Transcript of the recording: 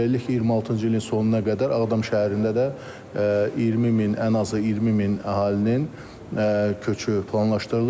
Beləliklə, 26-cı ilin sonuna qədər Ağdam şəhərində də 20000, ən azı 20000 əhalinin köçü planlaşdırılır.